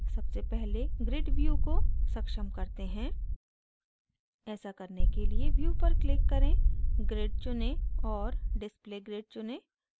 सबसे पहले grid view को सक्षम करते हैं ऐसा करने के लिए view पर click करें grid चुनें और display grid चुनें